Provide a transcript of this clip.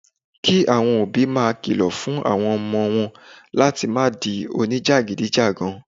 Kí àwọn òbí máa kìlọ̀ fún àwọn ọmọ wọn láti má di oníjàgídígan